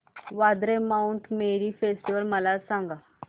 Vandre Mount Mary festival मला सांग